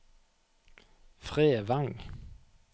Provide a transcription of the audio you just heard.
Fredvang